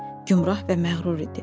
Gümrah və məğrur idi.